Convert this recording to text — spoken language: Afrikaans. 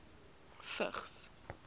vigs